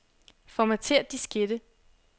Formatér diskette.